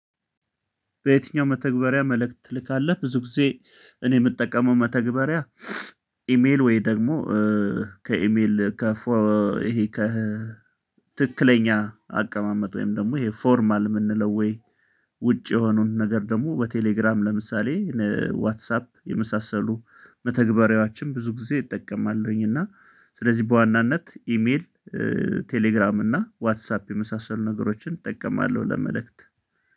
በየትኛው መተግበሪያ መልእክት ትልካለህ ብዙ ጊዜ እኔ የምጠቀመው መተግበሪያ ኢሜል ወይ ደግሞ ከኢሜል ይሄ ከ ትክክለኛ አቀማመጥ ወይም ደግሞ ይሄ ፎርማል የምንለው ወይ ውጭ የሆኑን ነገር ደግሞ በቴሌግራም ለምሳሌ ዋትሳፕ የመሳሰሉ መተግበሪያዎችን ብዙ ጊዜ እጠቀማለሁኝ እና ስለዚህ በዋናነት ኢሜል ቴሌግራም እና ዋትሳፕ የመሳሰሉ ነገሮችን እጠቀማለሁ። ለመልእክት